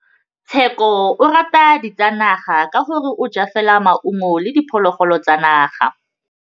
Tshekô o rata ditsanaga ka gore o ja fela maungo le diphologolo tsa naga.